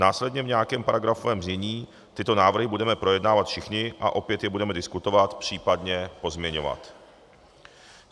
Následně v nějakém paragrafovaném znění tyto návrhy budeme projednávat všichni a opět je budeme diskutovat, případně pozměňovat.